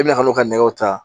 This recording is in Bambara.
E bɛna n'o ka nɛgɛw ta